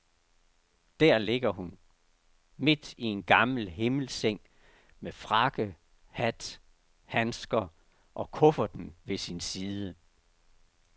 Der ligger hun, midt i en gammel himmelseng, med frakke, hat, handsker og kufferten ved sin side.